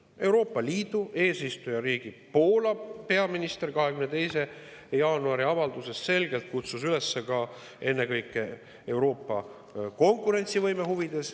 Euroopa Liidu eesistujariigi Poola peaminister kutsus oma 22. jaanuaril tehtud avalduses selgelt üles ennekõike Euroopa konkurentsivõime huvides …